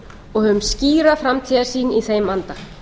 og höfum skýra framtíðarsýn í þeim anda